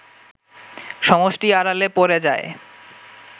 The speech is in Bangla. সমষ্টি আড়ালে পড়ে যায়